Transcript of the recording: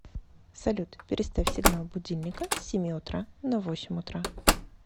салют переставь сигнал будильника с семи утра на восемь утра